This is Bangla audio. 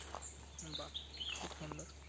বা খুব সুন্দর